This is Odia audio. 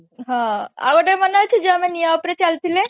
ହଁ ଆଉ ଗୋଟେ ମନେ ଅଛି ଯୋଉ ଆମେ ନିଆଁ ଉପରେ ଚାଲିଥିଲେ